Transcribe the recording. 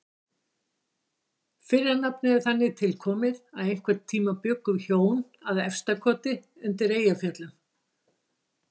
Fyrra nafnið er þannig tilkomið að einhvern tíma bjuggu hjón að Efstakoti undir Eyjafjöllum.